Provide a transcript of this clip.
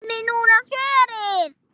Fáum við núna fjörið?